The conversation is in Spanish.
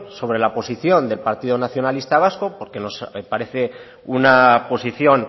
sobre la posición del partido nacionalista vasco porque nos parece una posición